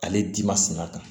Ale di ma sun a kan